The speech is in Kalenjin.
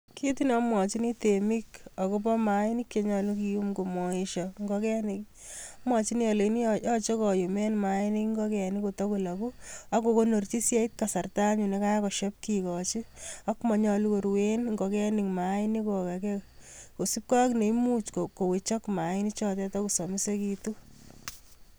Kit ne amwochini temik agobo maanik che nyalu kiyum komaesyo ngogenik ii, amwachini ale nyache koyumen maanik ngogenik kotagolagu ak kokonorchi si yeit kasarta anyun ne kagosiep kikochi. Ak manyalu koruen ngogenik maanik kogage kosipke ak neimuch kowechok maanik chotetan kosamisekitun.